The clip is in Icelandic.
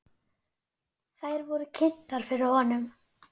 Þær eru kynntar fyrir honum.